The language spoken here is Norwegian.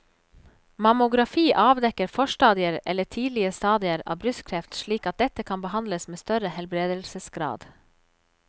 Mammografi avdekker forstadier eller tidlige stadier av brystkreft slik at dette kan behandles med større helbredelsesgrad.